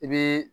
I bi